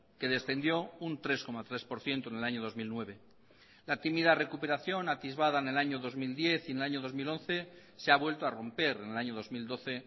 que descendió un tres coma tres por ciento en el año dos mil nueve la tímida recuperación atisbada en el año dos mil diez y en el año dos mil once se ha vuelto a romper en el año dos mil doce